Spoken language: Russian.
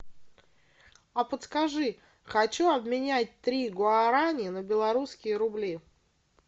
а подскажи хочу обменять три гуарани на белорусские рубли